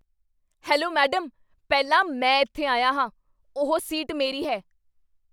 Hello madam, ਪਹਿਲਾਂ ਮੈਂ ਇੱਥੇ ਆਇਆ ਹਾਂ। ਉਹ ਸੀਟ ਮੇਰੀ ਹੈ।